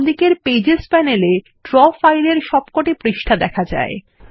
বামদিকের pages panel এ Draw ফাইলের সব পৃষ্ঠাগুলি দেখা যায়